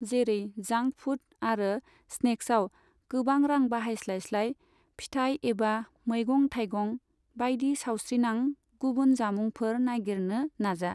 जेरै, जांक फुड आरो स्नेक्साव गोबां रां बाहायस्लायस्लाय, फिथाइ एबा मैगं थाइगं बायदि सावस्रिनां गुबुन जामुंफोर नागिरनो नाजा।